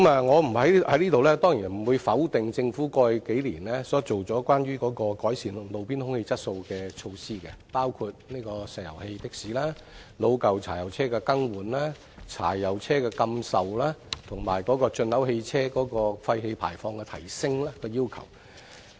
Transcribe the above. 我在這裏當然不會否定政府過去數年所推行，關於改善路邊空氣質素的措施，包括石油氣的士、老舊柴油車的更換、柴油車的禁售，以及提高進口汽車廢氣排放的要求。